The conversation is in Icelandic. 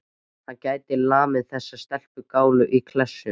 Hann gæti lamið þessa stelpugálu í klessu.